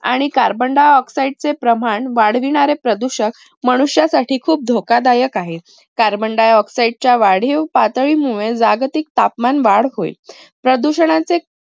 आणि carbon dioxide चे प्रमाण वाढविणारे प्रदूषक मनुष्यासाठी खूप धोकादायक आहेत. carbon dioxide च्या वाढीव पातळीमुळे जागतिक तापमान वाढ होईल. प्रदूषणांचे